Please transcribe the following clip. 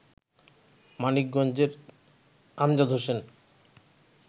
মানিকগঞ্জের আমজাদ হোসেন